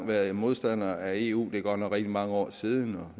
været modstander af eu det er godt nok rigtig mange år siden og